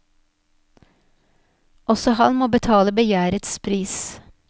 Også han må betale begjærets pris.